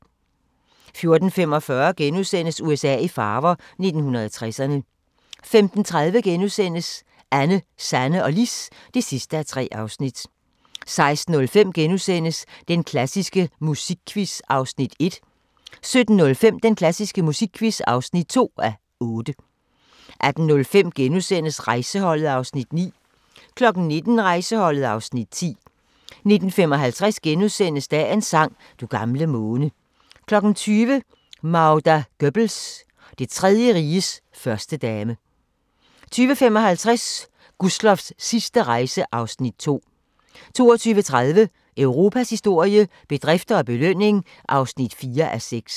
14:45: USA i farver – 1960'erne * 15:30: Anne, Sanne og Lis (3:3)* 16:05: Den klassiske musikquiz (1:8)* 17:05: Den klassiske musikquiz (2:8) 18:05: Rejseholdet (Afs. 9)* 19:00: Rejseholdet (Afs. 10) 19:55: Dagens sang: Du gamle måne * 20:00: Magda Goebbels – Det Tredje Riges førstedame 20:55: Gustloffs sidste rejse (Afs. 2) 22:30: Europas historie – bedrifter og belønning (4:6)